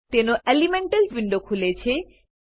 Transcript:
તેનો elemental window ખુલે છે